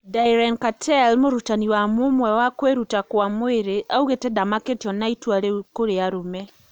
Diren Kartel murutani wa mũmwe wa kuiruta kwa mwiri augite ndamakitio na itua riu kuri arume